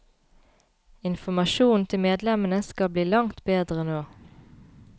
Informasjonen til medlemmene skal bli langt bedre nå.